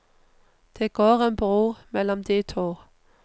Det går en bro mellom de to.